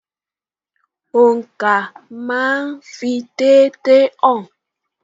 Oǹkà máa ń fi déédéé hàn.